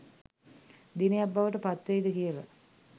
දිනයක් බවට පත්වෙයිද කියලා